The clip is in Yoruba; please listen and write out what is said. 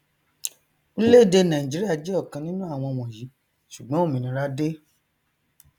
orílẹèdè nàìjíríà jẹ ọkan nínú àwọn wọnyí ṣùgbọn òmìnira dé